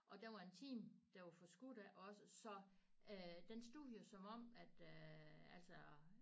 Og der var en time der var forskudt af os så øh den stod jo som om at øh altså